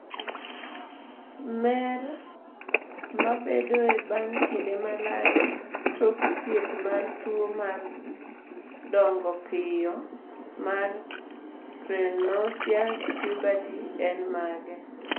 mer mabedoe bang' kinde malach tok thieth mar tuo mar dongo piyo mar prenocious puberty en mage?